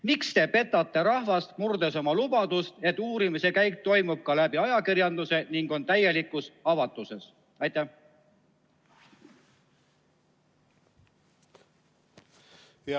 Miks te petate rahvast, murdes oma lubadust, et uurimine toimub täielikus avatuses ja selle käik saab ajakirjanduse kaudu valgustatud?